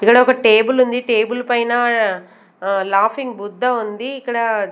ఇక్కడ ఒక టేబుల్ ఉంది టేబుల్ పైన లాఫింగ్ బుద్ధ ఉంది ఇక్కడ --